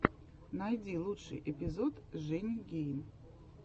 найди лучший эпизод жени гейн